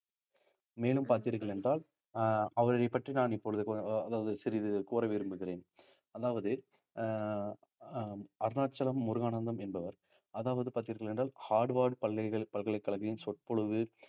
மேலும் பார்த்தீர்கள் என்றால் அஹ் அவரைப் பற்றி நான் இப்பொழுது அதாவது சிறிது கூற விரும்புகிறேன் அதாவது அஹ் அஹ் அருணாச்சலம் முருகானந்தம் என்பவர் அதாவது பார்த்தீர்கள் என்றால் ஹார்வார்ட் பல்கலை~ பல்கலைக்கழகின் சொற்பொழிவு